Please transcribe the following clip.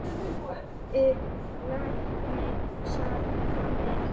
Ólafur læknir sat fram í.